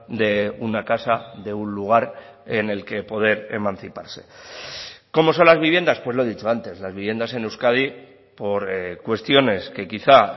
de una casa de un lugar en el que poder emanciparse cómo son las viviendas pues lo he dicho antes las viviendas en euskadi por cuestiones que quizá